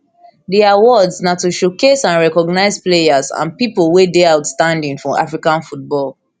di awards di awards na to showcase and recognise players and pipo wey dey outstanding for african football